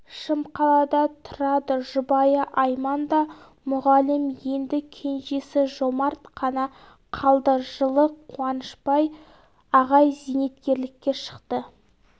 шымқалада тұрады жұбайы айман да мұғалім енді кенжесі жомарт қана қалды жылы қуанышбай ағай зейнеткерлікке шықты